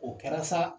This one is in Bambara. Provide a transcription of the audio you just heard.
O kɛra sa